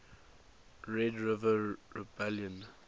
red river rebellion